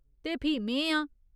ते फ्ही में आं !